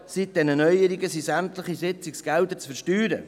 Seit diesen Neuerungen sind sämtliche Sitzungsgelder zu versteuern.